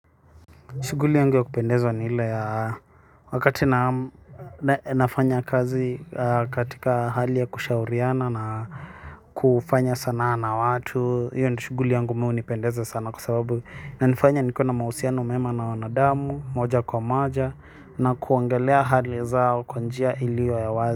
Shuguli yangu ya kupendezwa ni ile ya wakati naam nafanya kazi katika hali ya kushauriana na kufanya sanaa na watu, hiyo ni shuguli yangu mi hunipendeza sana kwa sababu inanifanya nikuwe na mahusiano mema na wanadamu, moja kwa moja na kuongelea hali zao kwa njia iliyo ya wazi.